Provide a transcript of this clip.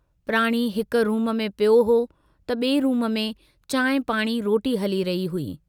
प्राणी हिक रूम में पियो हो त बिए रूम में चांहि पाणी रोटी हली रही हुई।